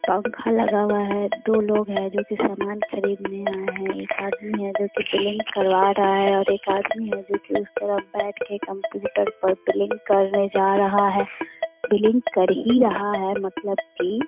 पंखा लगा हुआ है दो लोग हैं जो कि सामान खरीदने आये हैं | एक आदमी है जो कि बिलिंग करवा रहा है और एक आदमी है जो की उस तरफ बैठ के कंप्यूटर पर बिलिंग करने जा रहा है | बिलिंग कर ही रहा है मतलब की --